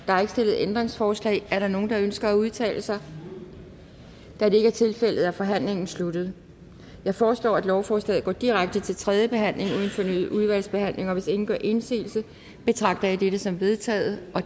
er ikke stillet ændringsforslag er der nogen der ønsker at udtale sig da det ikke er tilfældet er forhandlingen sluttet jeg foreslår at lovforslaget går direkte til tredje behandling uden fornyet udvalgsbehandling hvis ingen gør indsigelse betragter jeg dette som vedtaget